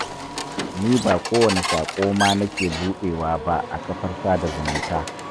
Ni ba kowane saƙo ma nake buɗewa ba a kafar sada zumunta.